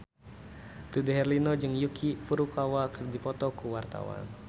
Dude Herlino jeung Yuki Furukawa keur dipoto ku wartawan